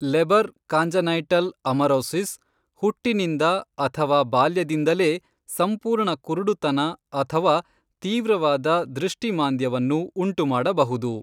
Labour congenital amaurosis ಹುಟ್ಟಿನಿಂದ ಅಥವಾ ಬಾಲ್ಯದಿಂದಲೇ ಸಂಪೂರ್ಣ ಕುರುಡುತನ ಅಥವಾ ತೀವ್ರವಾದ ದೃಷ್ಟಿ ಮಾಂದ್ಯವನ್ನು ಉಂಟುಮಾಡಬಹುದು.